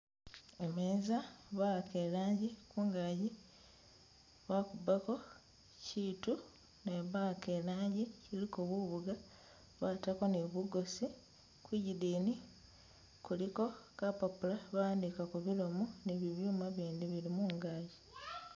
Imeeza bahaka ilangi kungagi bakubako kyiitu ne bahaka ilangi iliko bubuga batako ni bugosi kwigidini kuliko kapapula bahandikagako bilomo ni biyuuma bindi bili mungagi